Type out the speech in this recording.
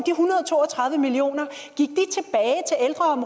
hundrede og to og tredive million